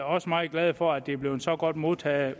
også meget glade for at det er blevet så godt modtaget